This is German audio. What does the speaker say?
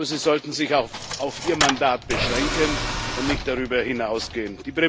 Aber sie sollten sich auf ihr Mandat beschränken und nicht darüber hinausgehen.